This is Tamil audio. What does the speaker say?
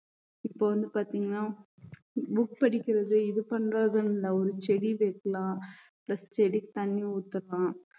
இப்ப வந்து பாத்தீங்கன்னா book படிக்கிறது இது பண்றதுன்னு இல்லை ஒரு செடி வைக்கலாம் plus செடிக்கு தண்ணி ஊத்தலாம்